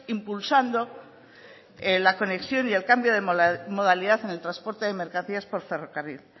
impulsando la conexión y el cambio de modalidad en el transporte de mercancías por ferrocarril